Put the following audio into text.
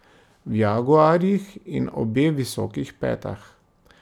V jaguarjih in obe v visokih petah.